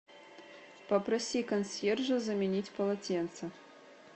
попроси консьержа заменить полотенце